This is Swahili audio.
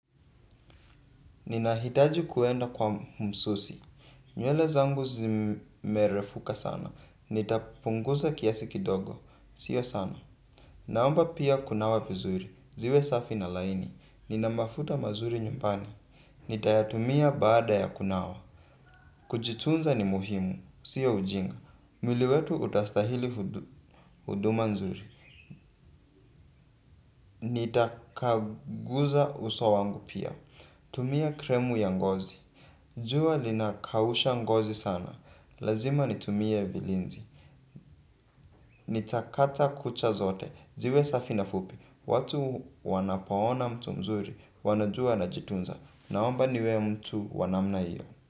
Ninahitaji kuenda kwa msusi. Nywele zangu zimerefuka sana. Nitapunguza kiasi kidogo. Sio sana. Naomba pia kunawa vizuri. Ziwe safi na laini. Nina mafuta mazuri nyumbani. Nitayatumia, baada ya kunawa. Kujitunza ni muhimu. Sio ujinga. Mwili wetu utastahili huduma nzuri. Nitakaguza uso wangu pia. Tumia kremu ya ngozi. Jua linakausha ngozi sana, lazima nitumie bilinzi. Nitakata kucha zote, ziwe safi na fupi. Watu wanapo ona mtu mzuri, wanajua anajitunza. Naomba niwe mtu wanamna hiyo.